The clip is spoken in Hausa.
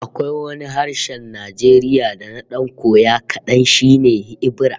Akwai wani harshen Najeriya da na dan koya kadan, shi ne Ebira